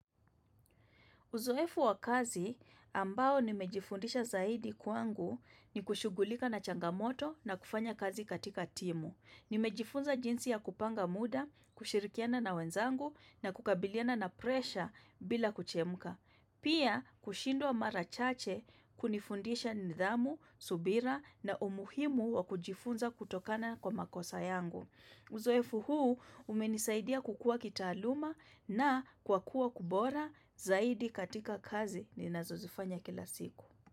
Uzoefu wa kazi ambao nimejifundisha zaidi kwangu ni kushugulika na changamoto na kufanya kazi katika timu. Nimejifunza jinsi ya kupanga muda, kushirikiana na wenzangu na kukabiliana na presha bila kuchemka. Pia kushindwa mara chache kunifundisha nidhamu, subira na umuhimu wa kujifunza kutokana kwa makosa yangu. Uzoefu huu umenisaidia kukuwa kitaaluma na kwa kuwa kubora zaidi katika kazi ni nazozifanya kila siku.